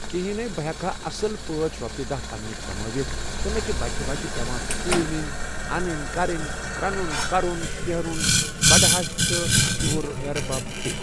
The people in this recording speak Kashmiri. کِہیٖنے بہٕ ہٮ۪کہٕ ہا اَصٕل پٲٹھۍ رۄپیہِ دَہ پنٛنہِ کَمٲیِتھ تہٕ مےٚ چھِ بَچہِ وَچہِ پٮ۪وان سکوٗل نِن اَنٕنۍ کَرٕنۍ رَنُن کَرُن شٮ۪ہرُن بٕڈٕ ہَش تہٕ ہیٚہربَب تہِ